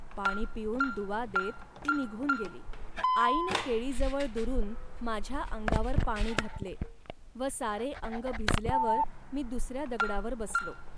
पाण पिऊन दुवा देत ती निघून गेली. आईने केळीजवळ दुरून माझ्या अंगावर पाणी घातले व सारे अंग भिजल्यावर मी दुसऱ्या दगडावर बसलो